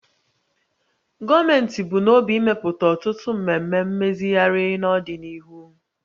Gọọmenti bu n'obi imepụta ọtụtụ mmemme mmezigharị n'ọdịnihu